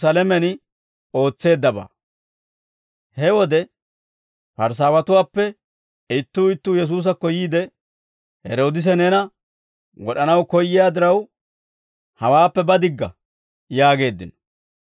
He wode Parisaawatuwaappe ittuu ittuu Yesuusakko yiide, «Heroodise neena wod'anaw koyyiyaa diraw, hawaappe ba digga» yaageeddino.